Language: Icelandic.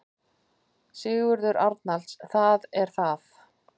Sigurður Arnalds: Það er það.